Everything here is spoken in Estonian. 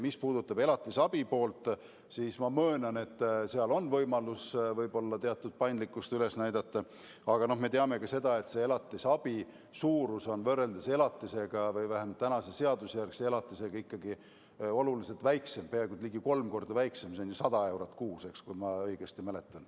Mis puudutab elatisabi poolt, siis ma möönan, et seal on võib-olla võimalus teatud paindlikkust üles näidata olemas, aga me teame ka seda, et elatisabi on elatisest või vähemalt tänasest seadusjärgsest elatisest ikkagi oluliselt väiksem, peaaegu kolm korda väiksem – see on ju 100 eurot kuus, kui ma õigesti mäletan.